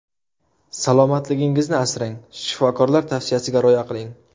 Salomatligingizni asrang, shifokorlar tavsiyasiga rioya qiling.